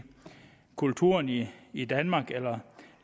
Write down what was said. kulturen i i danmark eller